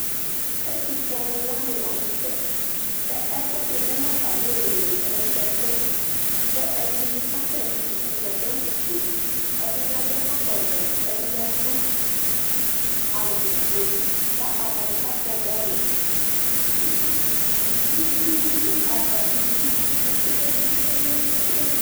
Ɛtʋfue alʋ wani lanʋ tɛɛ kʋ ɛkʋɛdi lɛnʋ atzmi iili mʋ kɛkɛ ɛdini kasɛti atani adʋ awufue ɛdini adʋ ɛkɔtɔvɛ ɛdini adʋ awufue kʋ atani kakpɔ bɔlʋ kʋ itsudʋ atami idʋ kpe kpe kpe